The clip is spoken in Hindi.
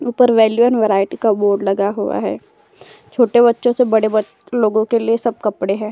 ऊपर वैल्यू एण्ड वैराइटी का बोर्ड लगा हुआ है। छोटे बच्चों से बड़े लोगों के सब कपड़े हैं।